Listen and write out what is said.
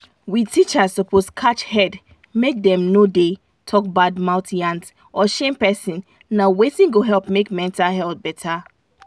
we teachers suppose catch head make dem no da talk bad mouth yans or shame person na wetin go help make mental health better